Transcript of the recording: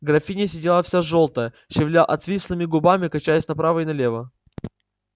графиня сидела вся жёлтая шевеля отвислыми губами качаясь направо и налево